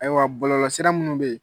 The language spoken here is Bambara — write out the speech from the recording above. Ayiwa bɔlɔlɔsira minnu be ye